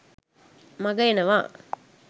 මඟ එනවා